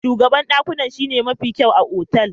Shugaban dakunan shine mafi kyau a otal.